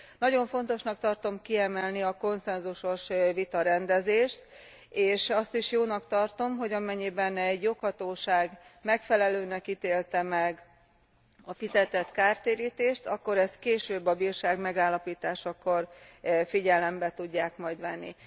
Nagyon fontosnak tartom kiemelni a konszenzusos vitarendezést, és azt is jónak tartom, hogy amennyiben egy joghatóság megfelelőnek ítélte meg a fizetett kártérítést, akkor ezt később a bírság megállapításakor figyelembe tudják majd venni.